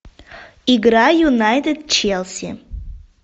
игра юнайтед челси